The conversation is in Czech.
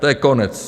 To je konec!